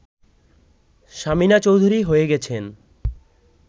সামিনা চৌধুরী হয়ে গেছেন